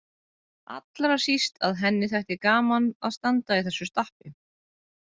Allra síst að henni þætti gaman að standa í þessu stappi.